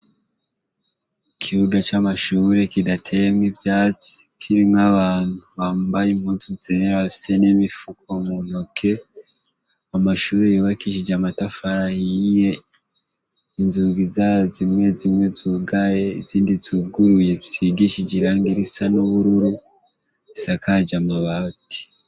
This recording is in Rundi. Ikibuga c'amashure kidateyemwo ivyatsi, kirimwo abantu bambaye impuzu zera bafise n'imifuko mu ntoke. Amashure yubakishije amatafari ahiye, inzugi zayo zimwe zimwe zugaye izindi zuguruye, zisizigishije irangi risa n''ubururu, zisakaje amabati.